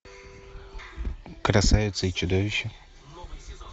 красавица и чудовище